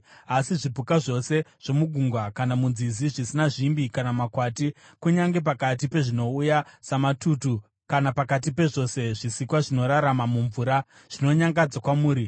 Asi zvipuka zvose zvomugungwa kana munzizi zvisina zvimbi namakwati, kunyange pakati pezvinouya samatutu kana pakati pezvose zvisikwa zvinorarama mumvura, zvinonyangadza kwamuri.